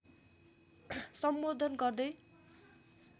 सम्बोधन गर्दै